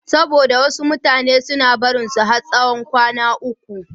Saboda wasu mutane suna barinsa har tsawon kwana uku.